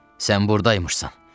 Sən burda imişsən.